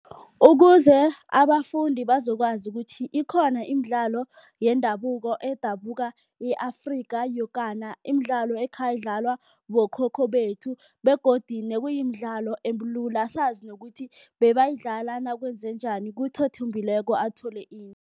Ukuze abafundi bazokwazi ukuthi ikhona imidlalo yendabuko edabuka e-Afrika yokana. Imidlalo ekhayidlalwa bokhokho bethu begodu nekuyimidlalo ebulula, sazi nokuthi bebayidlala nakwenzenjani, kuthi othumbileko athole